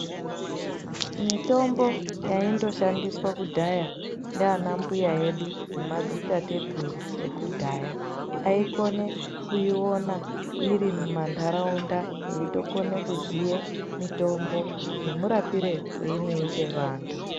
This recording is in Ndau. Mitombo yaindoshandiswa kudhaya ndana mbuya edunemadzitateguru ekudhaya aikone kuiona iri mumandaraunda eitokone kuziya mitombo nemurapire weinoite antu